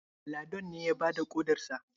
Ladon ne ya bada ƙodarsa?